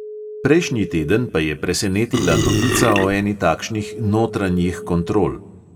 Prejšnji teden pa je presenetila novica o eni takšnih notranjih kontrol.